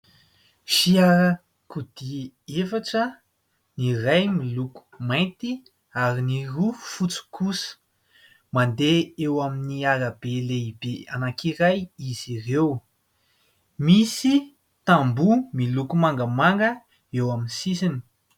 Fiarakodia efatra ny iray miloko mainty ary ny roa fotsy kosa mandeha eo amin'ny arabe lehibe anakiray izy ireo misy tamboho miloko mangamanga eo amin'ny sisiny.